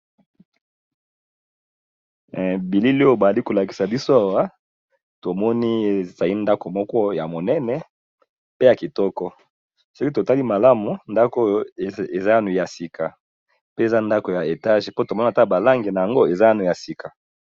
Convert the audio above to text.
Bilili oyovbali ko lakisa biso awa to moni e zali ndako moko ya monene pe ya kitoko. Soki tovtali malamu ndako eza yango eza ya sika pe eza ndako ya étage po tomoni ta ba langi na yango eza nano ya sika .